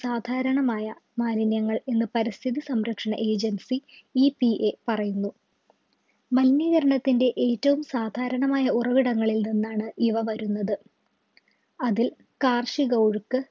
സാധാരണമായ മാലിന്യങ്ങൾ എന്ന് പരിസ്ഥിതി സംരക്ഷണ agencyEPA പറയുന്നു മലിനീകരണത്തിന്റെ ഏറ്റവും സാധാരണമായ ഉറവിടങ്ങളിൽ നിന്നാണ് ഇവ വരുന്നത് അതിൽ കാർഷി work